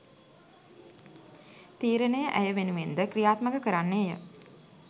තීරණය ඇය වෙනුවෙන්ද ක්‍රියාත්මක කරන්නේය